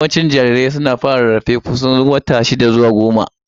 Yawancin jarirai suna fara rarrafe kusan watanni shida zuwa goma.